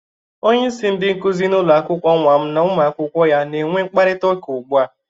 Onyeisi ndị nkụzị n'ụlọakwụkwọ nwa m na ụmụakwụkwọ ya na-enwe kparịta ụka ụgbu a.